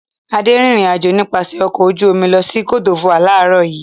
Adé rìnrìn-àjò nípasẹ̀ ọkọ̀ ojú-omi lọ sí Côte D'Ivoire láàárọ̀ yìí.